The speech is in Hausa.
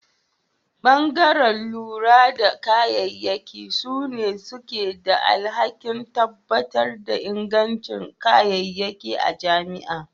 Bangare lura da kayayyaki sune suke da alhaki tabbatar da inganci kayayyaki a jami'a.